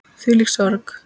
Þvílík sorg.